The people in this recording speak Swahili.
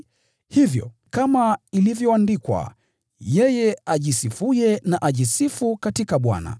Hivyo, kama ilivyoandikwa: “Yeye ajisifuye na ajisifu katika Bwana.”